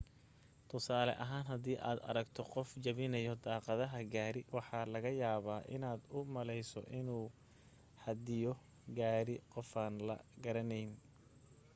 tusaale ahaan hadii aad aragto qof jebinaya daaqadda gaari waxaa laga yaabaa inaad u malayso inuu xadiyo gaari qofaan la garanayn